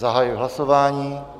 Zahajuji hlasování.